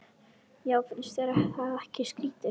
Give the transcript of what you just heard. Já, finnst þér það ekki skrýtið?